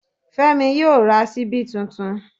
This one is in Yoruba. Fẹ́mi yóò ra ṣíbí tuntun